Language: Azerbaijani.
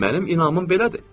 Mənim inanım belədir.